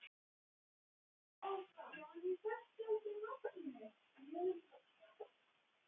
Enga fékk ég þangað gesti utan einn.